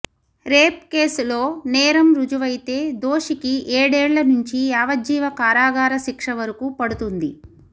rape కేసులో నేరం రుజువైతే దోషికి ఏడేళ్ల నుంచి యావజ్జీవ కారాగార శిక్ష వరకు పడుతుంది